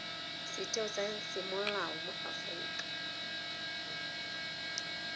setheo sa semolao mo aforika